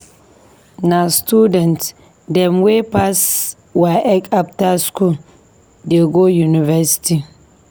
Na student dem wey pass WAEC after skool dey go university.